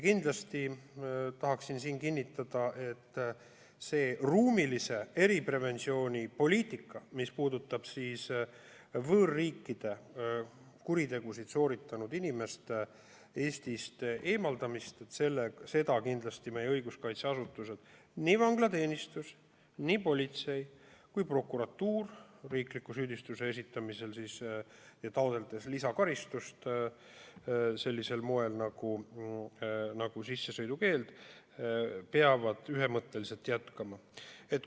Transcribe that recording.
Kindlasti tahaksin siin kinnitada, et seda ruumilise eripreventsiooni poliitikat, mis puudutab võõrriikides kuritegusid sooritanud inimeste Eestist eemaldamist, peavad kindlasti meie õiguskaitseasutused, nii vanglateenistus, politsei kui ka prokuratuur riikliku süüdistuse esitamisel ja lisakaristusena sissesõidukeelu taotlemisel ühemõtteliselt jätkama.